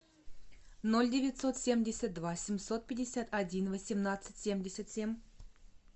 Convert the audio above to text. ноль девятьсот семьдесят два семьсот пятьдесят один восемнадцать семьдесят семь